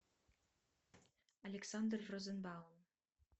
александр розенбаум